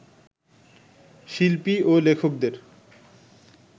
শিল্পী ও লেখকদের